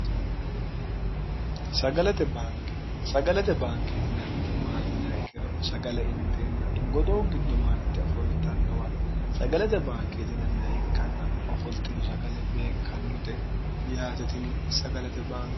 glt bnke sagalate baankeetinanniti maatina kkero sagale inteenna godowu giddo maarte ofoltannowa sagalate baankeetinanni ikkanna ofoltino sagale beekkannote yaatetini sagalate bann